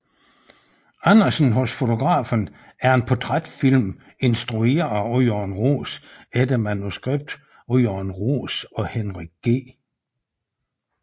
Andersen hos fotografen er en portrætfilm instrueret af Jørgen Roos efter manuskript af Jørgen Roos og Henrik G